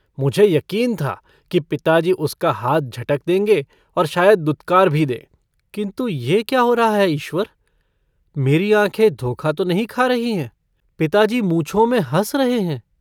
मुझे यकीन था कि पिताजी उसका हाथ झटक देंगे और शायद दुत्कार भी दें किन्तु यह क्या हो रहा है ईश्वर मेरी आँखें धोखा तो नहीं खा रही हैं पिताजी मूँछों में हँस रहे हैं।